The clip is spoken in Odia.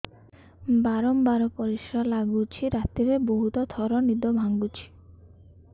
ବାରମ୍ବାର ପରିଶ୍ରା ଲାଗୁଚି ରାତିରେ ବହୁତ ଥର ନିଦ ଭାଙ୍ଗୁଛି